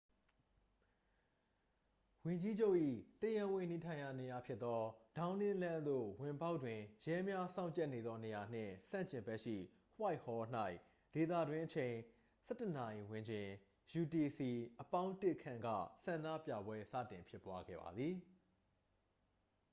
ဝန်ကြီးချုပ်၏တရားဝင်နေထိုင်ရာနေရာဖြစ်သော ဒေါင်းနင်းလမ်းသို့ဝင်ပေါက်တွင် ရဲများစောင့်ကြပ်နေသောနေရာနှင့် ဆန့်ကျင်ဘက်ရှိ whitehall ၌ ဒေသတွင်းအချိန် ၁၁:၀၀ ဝန်းကျင် utc+၁ ခန့်က ဆန္ဒပြပွဲ စတင်ဖြစ်ပွားခဲ့ပါသည်။